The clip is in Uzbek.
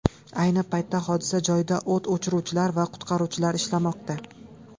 Ayni paytda hodisa joyida o‘t o‘chiruvchilar va qutqaruvchilar ishlamoqda.